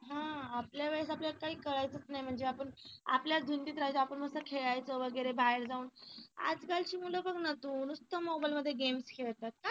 हा आपल्या वेळेस आपल्याला काही कळायचं नाही म्हणजे आपण आपल्याच धुंदीत रहायचो नुसत आपण मस्त खेळायचो वगैरे बाहेर जाऊन आजकालची मुलं बघ ना तू नुसत मोबाईल मध्ये game खेळत असतात.